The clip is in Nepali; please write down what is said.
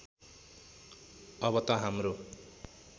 अब त हाम्रो